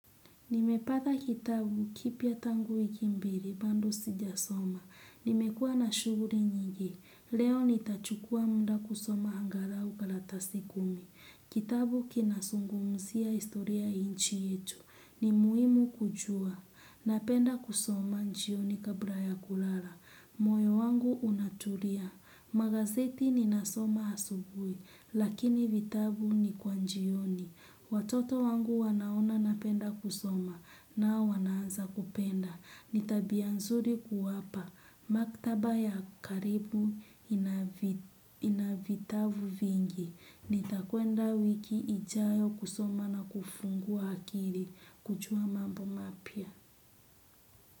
Nimepata kitabu kipya tangu wiki mbili bado sijasoma. Nimekua na shughuli nyingi. Leo nitachukua muda kusoma angalau karatasi kumi. Kitabu kinazungumziia historia ya nchi yetu. Ni muhimu kujua. Napenda kusoma jioni kabla ya kulala. Moyo wangu unatulia. Magazeti ninasoma asubuhi. Lakini vitabu ni kwa jioni. Watoto wangu wanaona napenda kusoma nao wanaanza kupenda. Ni tabia nzuri kuwapa. Maktaba ya karibu inavitavu vingi. Nitakwenda wiki ijayo kusoma na kufungua akili. Kujua mambo mapya.